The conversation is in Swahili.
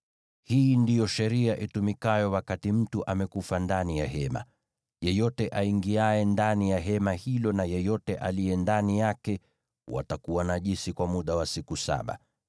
“Hii ndiyo sheria itumikayo wakati mtu amekufa ndani ya hema: Yeyote aingiaye ndani ya hema hilo na yeyote aliye ndani yake watakuwa najisi kwa muda wa siku saba,